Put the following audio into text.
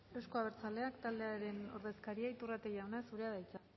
euzko abertzaleak taldearen ordezkaria iturrate jauna zurea da hitza